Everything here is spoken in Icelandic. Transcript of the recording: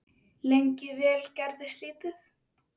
Lengi vel gerðist lítið.